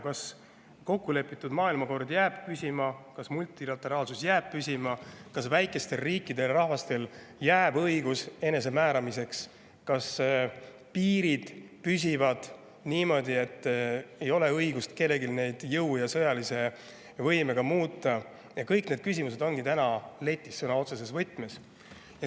Kas kokkulepitud maailmakord jääb püsima, kas multilateraalsus jääb püsima, kas väikestele riikidele ja rahvastele jääb enesemääramise õigus, kas piirid püsivad niimoodi, et kellelgi ei ole õigust neid jõuga ja sõjaliselt muuta – kõik need küsimused ongi täna letis sõna otseses mõttes.